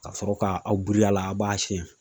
Ka sɔrɔ ka aw biri a la a b'a siyɛn